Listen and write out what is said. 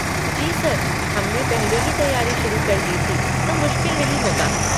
जी sir, हम ने पहले ही तैयारी शुरू कर दी थी तो मुश्किल नहीं होगा।